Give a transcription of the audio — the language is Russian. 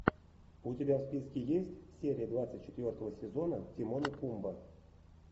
у тебя в списке есть серия двадцать четвертого сезона тимон и пумба